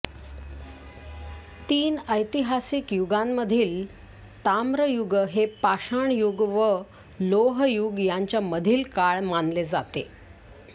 तीन ऐतिहासिक युगांमधील ताम्र युग हे पाषाणयुग व लोह युग ह्यांच्या मधील काळ मानले जाते